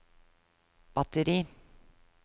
batteri